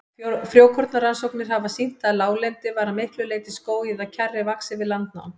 Frjókornarannsóknir hafa sýnt að láglendi var að miklu leyti skógi eða kjarri vaxið við landnám.